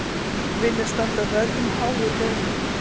Vilja standa vörð um háu launin